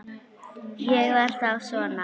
Það var þá svona.